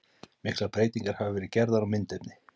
Miklar breytingar hafa verið gerðar á myndefni.